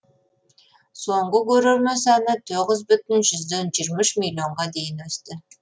соңғы көрермен саны тоғыз жүзден жиырма үш миллионға дейін өсті